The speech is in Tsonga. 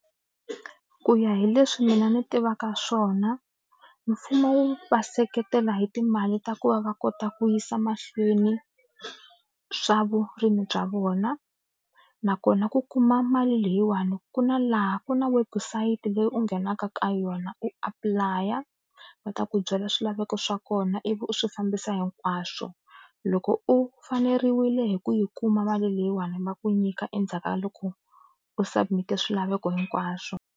Ku ya hi leswi mina ni tivaka swona mfumo wu va seketela hi timali ta ku va va kota ku yisa mahlweni swa vurimi bya vona nakona ku kuma mali leyiwani ku na laha ku na website leyi u nghenaka ka yona u apply a va ta ku byela swilaveko swa kona ivi u swi fambisa hinkwaswo loko u faneriwile hi ku yi kuma mali leyiwani va ku nyika endzhaku ka loko u submit swilaveko hinkwaswo.